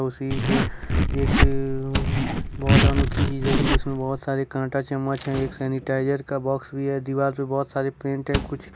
कुर्सी पे एक बहोत अनोखी चीज की जिसमें बहुत सारे कांटा चम्मच है एक सैनिटाइजर का बॉक्स भी है दीवार पर बहोत सारी प्रिंट है कुछ--